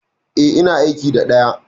E, ina aiki da ɗaya.